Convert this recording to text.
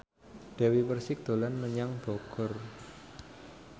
Dewi Persik dolan menyang Bogor